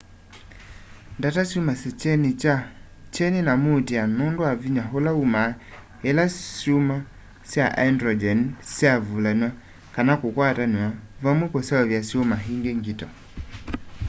ndata syumasya kyeni na muutîa nûndû wa vinya ula umaa ila syuma sya hyndrogyeni syavulanw'a kana kukwatanw'a vamwe kuseuvya syuma îngi ngito